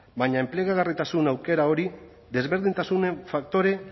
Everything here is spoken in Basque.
baina enplegagarritasun aukera hori desberdintasunen faktore